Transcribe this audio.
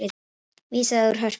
Vísað úr Hörpu